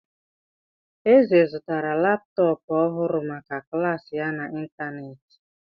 Eze zụtara laptọọpụ ọhụrụ maka klas ya n'ịntanetị.